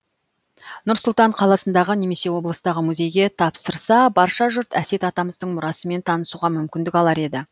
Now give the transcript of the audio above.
нұр сұлтан қаласындағы немесе облыстағы музейге тапсырса барша жұрт әсет атамыздың мұрасымен танысуға мүмкіндік алар еді